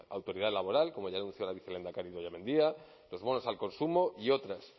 autoridad laboral como ya anunció la vicelehendakari idoia mendia los bonos al consumo y otras